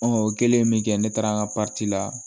o kɛlen min kɛ ne taara an ka la